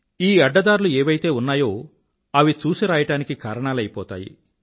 ఈ అడ్డదారులు ఏవైతే ఉన్నాయో అవి చూసిరాయడానికి కారణాలయిపోతాయి